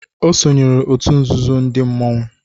O sonyeere òtù nzuzo ndị mmanwu.